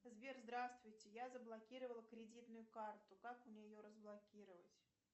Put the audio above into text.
сбер здравствуйте я заблокировала кредитную карту как мне ее разблокировать